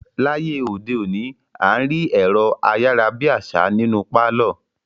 Láyé òde òní, à ń rí ẹ̀rọ-ayára-bí-àṣá nínú pálọ̀.